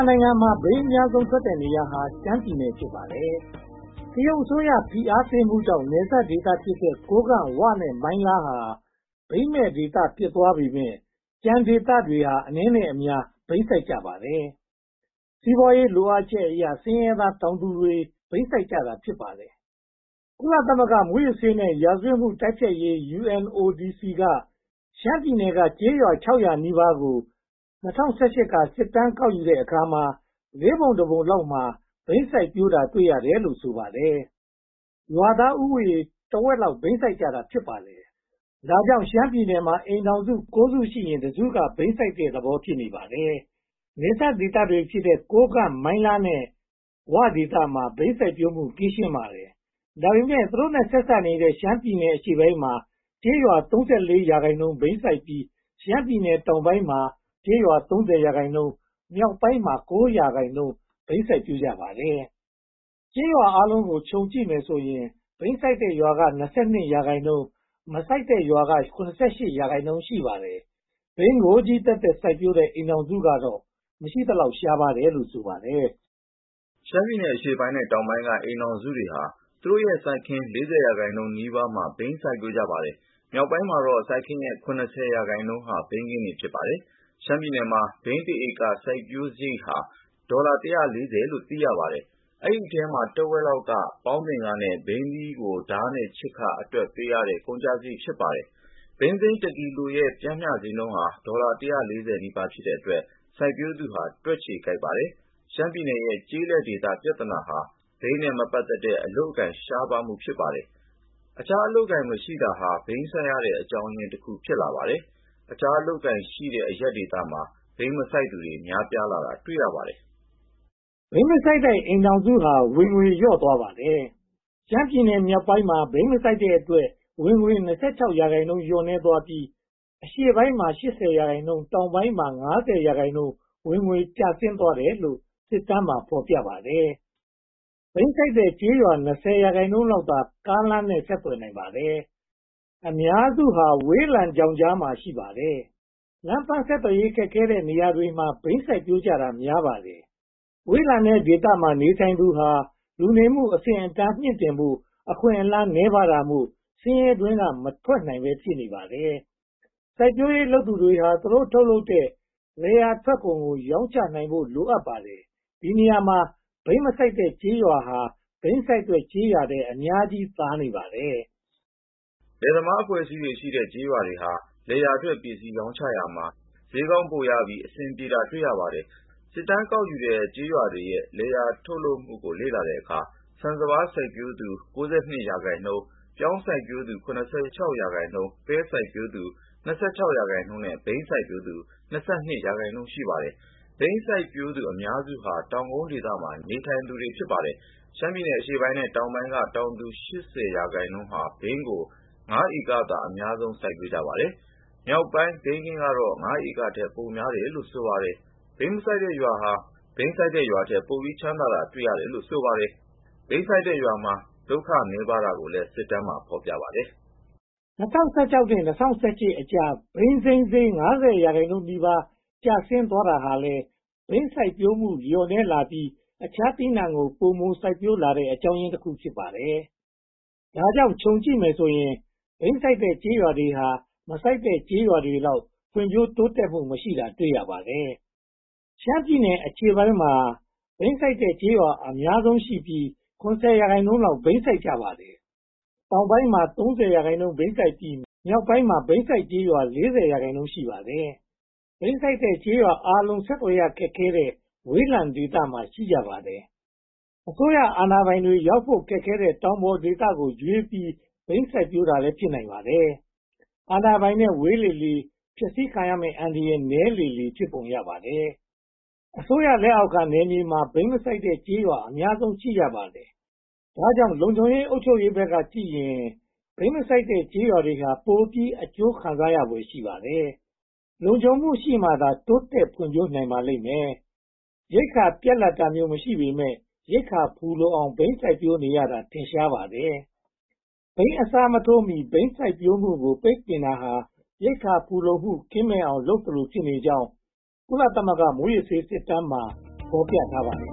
နိုင်ငံမှာ ဘိန်းအများဆုံးထွက်တဲ့နေရာဟာ ရှမ်းပြည်နယ် ဖြစ်ပါတယ်။ တရုတ်အစိုးရ ဖိအားပေးမှုကြောင့် နယ်စပ်ဒေသဖြစ်တဲ့ ကိုးကန့်၊ ဝ နဲ့ မိုင်းလားဒေသတွေဟာ ဘိန်းမဲ့ဒေသတွေ ဖြစ်သွားပေမယ့် ကျန်တဲ့ဒေသတွေမှာ အနည်းနဲ့အများ ဘိန်းစိုက်ကြပါတယ်။ စီးပွားရေးလိုအပ်ချက်အရ ဆင်းရဲသားတောင်သူတွေ ဘိန်းစိုက်ကြတာ ဖြစ်ပါတယ်။ ကုလသမဂ္ဂ မူးယစ်ဆေးနဲ့ ရာဇဝတ်မှု တိုက်ဖျက်ရေးရုံး UNODC က ရှမ်းပြည်နယ်က ကျေးရွာ (၅၉၉) ကို ၂၀၁၈ က စစ်တမ်းကောက်ယူတဲ့အခါမှာ လေးပုံတစ်ပုံလောက်မှာ ဘိန်းစိုက်ပျိုးကြတာ တွေ့ရတယ်လို့ ဆိုပါတယ်။ ရွာသားဦးရေ တဝက်ကျော်လောက် ဘိန်းစိုက်ကြတာ ဖြစ်ပါတယ်။ ဒါကြောင့် ရှမ်းပြည်နယ်မှာ အိမ်ထောင်စု (၉) စု ရှိရင် (၁) စုက ဘိန်းစိုက်တဲ့သဘော ဖြစ်နေပါတယ်။ နယ်စပ်ဒေသတွေဖြစ်တဲ့ ကိုးကန့်၊ ဝ နဲ့ မိုင်လားဒေသတွေမှာ ဘိန်းစိုက်ပျိုးမှု ကင်းရှင်းပါတယ်။ ဒါပေမဲ့ သူတို့နဲ့ ဆက်စပ်နေတဲ့ ရှမ်းပြည်နယ်အရှေ့ပိုင်းမှာ ကျေးရွာ (၃၄)% ဘိန်းစိုက်ကြပြီး ရှမ်းပြည်နယ်တောင်ပိုင်းမှာ ကျေးရွာ (၃၀)% မြောက်ပိုင်းမှာ (၉)% ဘိန်းစိုက်ပျိုးကြပါတယ်။ ကျေးရွာအားလုံးကို ခြုံကြည့်မယ်ဆိုရင် ဘိန်းစိုက်တဲ့ရွာက (၂၂)%၊ မစိုက်တဲ့ရွာက (၇၈)% ရှိနေပါတယ်။ ဘိန်းကိုချည်းသက်သက် စိုက်ပျိုးတဲ့ အိမ်ထောင်စုကတော့ မရှိသလောက် ရှားပါးတယ်လို့ ဆိုပါတယ်။ ရှမ်းပြည်နယ်အရှေ့ပိုင်းနဲ့ တောင်ပိုင်းက အိမ်ထောင်စုတွေဟာ သူတို့ရဲ့စိုက်ခင်း (၄၀) ရာခိုင်နှုန်းနီးပါးမှာ ဘိန်းစိုက်ပျိုးပါတယ်။ မြောက်ပိုင်းမှာတော့ စိုက်ခင်းရဲ့ (၇၀) ရာခိုင်နှုန်းဟာ ဘိန်းခင်းတွေ ဖြစ်နေပါတယ်။ ရှမ်းပြည်နယ်မှာ ဘိန်း (၁) ဧက စိုက်ပျိုးတဲ့စရိတ်ဟာ ဒေါ်လာ (၁၄၀) လို့ သိရပါတယ်။ ဒီအထဲမှာ တဝက်လောက်က ပေါင်းသင်ခနဲ့ ဘိန်းသီးကို ဓါးနဲ့ခြစ်ခအတွက် ပေးရတဲ့ ကုန်ကျစရိတ် ဖြစ်ပါတယ်။ ဘိန်းစိမ်း (၁) ကီလိုရဲ့ ပျမ်းမျှဈေးနှုန်းဟာ ဒေါ်လာ (၁၄၀) နီးပါး ဖြစ်တဲ့အတွက် စိုက်ပျိုးသူဟာ တွက်ချေကိုက်ပါတယ်။ ရှမ်းပြည်ရဲ့ ကျေးလက်ဒေသ ပြဿနာဟာ ဘိန်းနဲ့ မပတ်သက်တဲ့ အလုပ်အကိုင် ရှားပါးတာ ဖြစ်ပါတယ်။ အခြားအလုပ်အကိုင် မရှိတာဟာ ဘိန်းစိုက်ရတဲ့အကြောင်းရင်းတခု ဖြစ်ပါတယ်။ အခြားအလုပ်အကိုင်တွေ ရှိတဲ့အရပ်မှာ ဘိန်းမစိုက်သူတွေ များလာတာ တွေ့ရပါတယ်။ ဘိန်းမစိုက်တဲ့အိမ်ထောင်စုဟာ ဝင်ငွေလျော့သွားပါတယ်။ ရှမ်းပြည်နယ်မြောုက်ပိုင်းမှာ ဘိန်းမစိုက်တဲ့အတွက် ဝင်ငွေ (၂၆)% လျော့နည်းသွားပြီး၊ အရှေ့ပိုင်းမှာ (၈၀)% တောင်ပိုင်းမှာ (၅၀)% ဝင်ငွေကျဆင်းသွားတယ်လို့ စစ်တမ်းမှာ ဖော်ပြထားပါတယ်။ ဘိန်းစိုက်တဲ့ကျေးရွာ (၂၀)% လောက်သာ ကားလမ်းနဲ့ ဆက်သွယ်နိုင်ပါတယ်။ အများစုဟာ ဝေးလံချောင်းကြားမှာ တည်ရှိကြပါတယ်။ လမ်းပန်းဆက်သွယ်ရေး ခက်ခဲတဲ့နေရာတွေမှာ ဘိန်းစိုက်ပျိုးကြတာ များပါတယ်။ ဝေးလံတဲ့ဒေသမှာ နေထိုင်သူဟာ လူနေမှုအဆင့်အတန်းကို မြှင့်တင်ဖို့ အခွင့်အလမ်းနည်းပါးတာမို့ ဆင်းရဲတွင်းက မထွက်နိုင်ပဲ ဖြစ်နေပါတယ်။ စိုက်ပျိုးရေးလုပ်သူတွေဟာ သူတို့ထုတ်လုပ်တဲ့ လယ်ယာထွက်ကုန်ကို ရောင်းချနိုင်ဖို့ လိုပါတယ်။ ဒီနေရာမှာ ဘိန်းမစိုက်တဲ့ ကျေးရွာတွေဟာ ဘိန်းစိုက်တဲ့ကျေးရွာတွေထက် အများကြီးသာနေပါတယ်။ လယ်သမားအဖွဲ့အစည်းရှိတဲ့ ကျေးရွာတွေဟာ လယ်ယာထွက်ပစ္စည်း ရောင်းချရာမှာ ဈေးကောင်းကောင်း ပိုပြီးအဆင်ပြေတာကို တွေ့ရပါတယ်။ စစ်တမ်းကောက်ယူတဲ့ ကျေးရွာတွေရဲ့ လယ်ယာကုန်ထုတ်လုပ်မှုကို လေ့လာတဲ့အခါမှာ ဆန်းစပါးစိုက်ပျိုးသူက (၉၂) ရာခိုင်နှုန်း၊ ပြောင်းစိုက်သူက (၇၆) ရာခိုင်နှုန်း၊ ပဲစိုက်သူ (၂၆) ရာခိုင်နှုန်းနဲ့ ဘိန်းစိုက်သူ (၂၂) ရာခိုင်နှုန်း ရှိပါတယ်။ ဘိန်းစိုက်သူ အများစုဟာ တောင်ကုန်းဒေသမှာ နေထိုင်သူတွေ ဖြစ်ကြပါတယ်။ ရှမ်းပြည်နယ်အရှေ့ပိုင်းနဲ့ တောင်ပိုင်းက တောင်သူ (၈၀) ရာခိုင်နှုန်းဟာ ဘိန်းကို (၅) ဧကသာ အများဆုံး စိုက်ပျိုးကြပါတယ်။ မြောက်ပိုင်းဘိန်းခင်းကတော့ (၅) ဧကထက် ပိုများတယ်လို့ ဆိုပါတယ်။ ဘိန်းမစိုက်တဲ့ရွာဟာ ဘိန်းစိုက်တဲ့ရွာထက် ပိုပြီးချမ်းသာတာ တွေ့ရပါတယ်လို့ ဆိုပါတယ်။ ဘိန်းစိုက်တဲ့ရွာမှာ လုပ်ခနည်းပါးတာကိုလည်း စစ်တမ်းမှာ ဖော်ပြထားပါတယ်။ ၂၀၁၆ နဲ့ ၂၀၁၈ ကြား ဘိန်းစိမ်းဈေး (၅၀) ရာခိုင်နှုန်းနီးပါး ကျဆင်းသွားတာဟာလည်း ဘိန်းစိုက်မှုလျော့နည်းလာပြီး အခြားသီးနံှကို ပိုမိုစိုက်ပျိုးလာတဲ့ အကြောင်းရင်းတခု ဖြစ်ပါတယ်။ ဒါကြောင့် ခြုံကြည့်မယ်ဆိုရင် ဘိန်းစိုက်တဲ့ကျေးရွာတွေဟာ မစိုက်တဲ့ကျေးရွာတွေလောက် ဖွံ့ဖြိုးတိုးတက်မှု မရှိတာကို တွေ့ရပါတယ်။ ရှမ်းပြည်နယ်အရှေ့ပိုင်းမှာ ဘိန်းစိုက်တဲ့ကျေးရွာ အများဆုံးရှိပြီး (၇၀) ရာခိုင်နှုန်းလောက် ဘိန်းစိုက်ကြပါတယ်။ တောင်ပိုင်းမှာ (၃၀) ရာခိုင်နှုန်း ဘိန်းစိုက်ပြီး မြောက်ပိုင်းမှာ ဘိန်းစိုက်ရွာ (၄၀) ရာခိုင်နှုန်း ရှိပါတယ်။ ဘိန်းစိုက်တဲ့ရွာအားလုံး ဆက်သွယ်ရခက်တဲ့ ဝေးလံတဲ့ဒေသမှာ ရှိကြပါတယ်။ အစိုးရအာဏာပိုင်တွေ ရောက်လာဖို့ခက်ခဲတဲ့ တောင်ပေါ်ဒေသကိုရွေးပြီး ဘိန်းစိုက်ပျိုးတာလည်း ဖြစ်နိုင်ပါတယ်။ အာဏာပိုင်နဲ့ ဝေးလေလေ ဖျက်ဆီးခံရမယ့် အန္တရာယ် နည်းလေလေ ဖြစ်ပုံရပါတယ်။ အစိုးရလက်အောက်ခံနယ်မြေမှာ ဘိန်းမစိုက်တဲ့ကျေးရွာတွေဟာ ပိုပြီးအကျိုးခံစားရဖွယ် ရှိပါတယ်။ လုံခြုံမှုရှိမှသာ တိုးတက်ဖွံ့ဖြိးနိုင်ပါလိမ့်မယ်။ ရိက္ခာပြတ်လပ်တာမျိုး မရှိပေမယ့် ရိက္ခာဖူလုံအောင် ဘိန်းစိုက်ပျိုးနေတာ ထင်ရှားပါတယ်။ ဘိန်းအစားမထိုးနိုင်မီ ဘိန်းစိုက်ပျိုးမှုကို ပိတ်ပင်တာဟာ ရိက္ခာဖူလုံမှု ကင်းမဲ့အောင် လုပ်နေသလိုဖြစ်ကြောင်း ကုလသမဂ္ဂ မူးယစ်ဆေးစစ်တမ်းမှာ ဖော်ပြထားပါတယ်